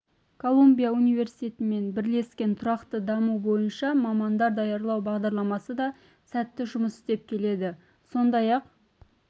колумбия университетімен бірлескен тұрақты даму бойынша мамандар даярлау бағдарламасы да сәтті жұмыс істеп келеді сондай-ақ